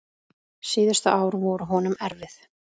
Síðustu ár voru honum erfið.